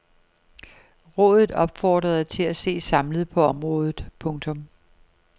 Rådet opfordrede til at se samlet på området. punktum